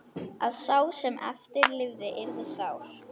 Að sá sem eftir lifði yrði sár.